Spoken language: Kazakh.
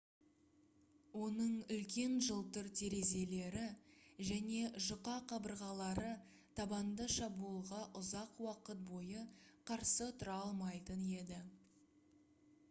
оның үлкен жылтыр терезелері және жұқа қабырғалары табанды шабуылға ұзақ уақыт бойы қарсы тұра алмайтын еді